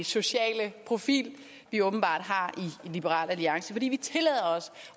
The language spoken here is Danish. sociale profil vi åbenbart har i liberal alliance fordi vi tillader os